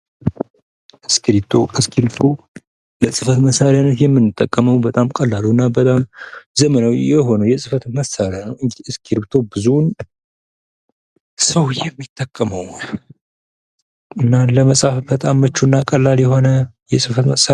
እስክርቢቶ፦ እስክርቢቶ ለጽህፈት መሳሪያነት የምንጠቀመው በጣም ቀላልና ዘመናዊ የሆነ የጽህፈት መሳሪያ ነው። ብዙ ሰው የሚጠቀመው እና ለመጻፍ ምቹ የሆነ የጽህፈት መሳሪያ ነው።